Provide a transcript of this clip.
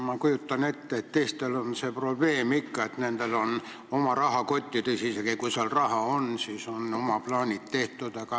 Ma kujutan ette, et teistel on see probleem ka, et nendel on küll oma rahakott, aga isegi kui seal raha on, siis on oma plaanid tehtud.